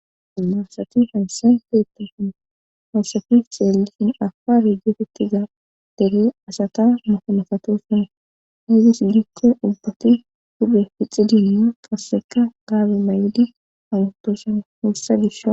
anasati hansenteettasun hayssafi xeelisin afa hijefettiza dere asata mohomefato sona heygis gikko ubbati huphe fixidinma qasseka gaabe may7odi amutosa wursa disha